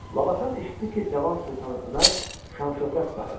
Labakan eşitdi ki, cavan Sultan Ömər şan-şöhrət sahibidir.